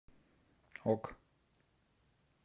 ок